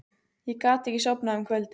Ég gat ekki sofnað um kvöldið.